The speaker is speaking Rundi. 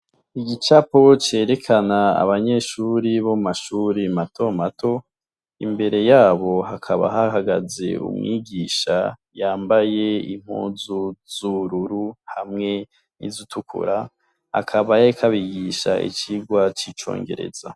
igicapo cerekana abanyeshuri bo mumashuri mato mato imbere yabo hakaba hahagaze umwigisha yambaye impuzu z’ubururu hamwe n’izitukura, akaba yarik’abigisha icigwa c'icongereza.